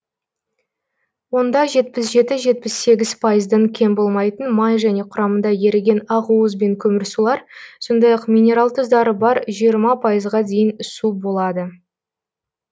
онда жетпіс жеті жетпіс сегіз пайыздан кем болмайтын май және құрамында еріген ақуыз бен көмірсулар сондай ақ минерал тұздары бар жиырма пайызға дейін су болады